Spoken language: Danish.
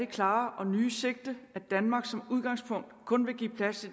klare og nye sigte at danmark som udgangspunkt kun vil give plads